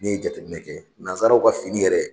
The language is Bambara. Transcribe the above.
N'i ye jateminɛ kɛ nazaraw ka fini yɛrɛ